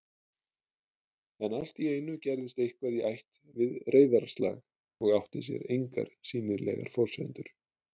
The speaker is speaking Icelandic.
En alltíeinu gerðist eitthvað í ætt við reiðarslag og átti sér engar sýnilegar forsendur